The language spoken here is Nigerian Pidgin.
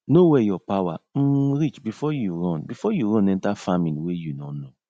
know where your power um reach before you run before you run enter faming wey you nor know